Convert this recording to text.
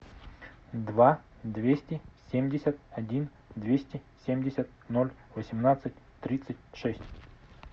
два двести семьдесят один двести семьдесят ноль восемнадцать тридцать шесть